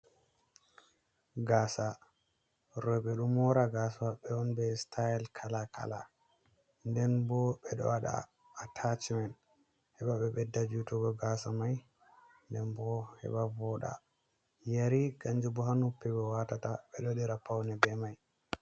Gasa roɓɓe ɗo mora gasa maɓɓe on be staile kala kala nden bo bedo waɗa atachimen heɓa ɓe ɓedda jutugo gasa mai nden bo heɓa voɗa, yeri kanju bo ha noppi ɓe watata ɓeɗo waɗira paune be mai.